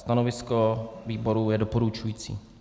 Stanovisko výboru je - doporučující.